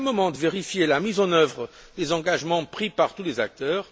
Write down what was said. Ce sera le moment de vérifier la mise en œuvre des engagements pris par tous les acteurs.